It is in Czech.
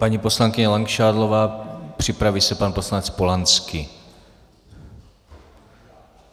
Paní poslankyně Langšádlová, připraví se pan poslanec Polanský.